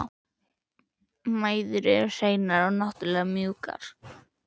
Mæður eru hreinar og náttúrlegar og mjúkar.